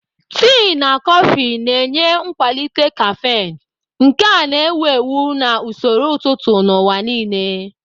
Tii na kọfị na-enye nkwalite caffeine, nke a na-ewu ewu na usoro ụtụtụ n'ụwa nile.